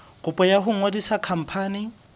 kopo ya ho ngodisa khampani